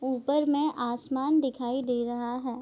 ऊपर में आसमान दिखाई दे रहा है।